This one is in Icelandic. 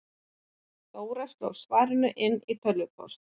Dóra sló svarið inn í tölvupóst.